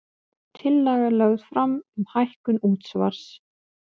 Tillaga lögð fram um hækkun útsvars